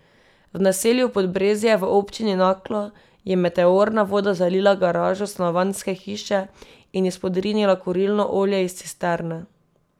V naselju Podbrezje v Občini Naklo je meteorna voda zalila garažo stanovanjske hiše in izpodrinila kurilno olje iz cisterne.